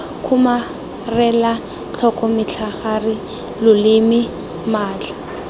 kgomarela tlhoko metlhagare loleme matlhaa